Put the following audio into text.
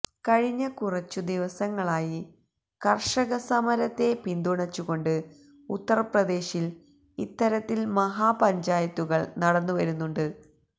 കഴിഞ്ഞ കുറച്ച് ദിവസങ്ങളായി കര്ഷകസമരത്തെ പിന്തുണച്ചുകൊണ്ട് ഉത്തര്പ്രദേശില് ഇത്തരത്തില് മഹാപഞ്ചായത്തുകള് നടന്നുവരുന്നുണ്ട്